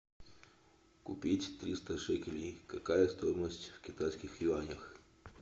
купить триста шекелей какая стоимость в китайских юанях